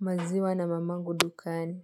maziwa na mamangu dukani.